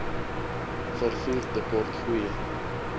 vervoer tekort goeie